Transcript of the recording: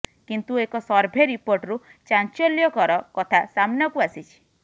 କିନ୍ତୁ ଏକ ସର୍ଭେ ରିପୋର୍ଟରୁ ଚାଞ୍ଚଲ୍ୟକର କଥା ସାମ୍ନାକୁ ଆସିଛି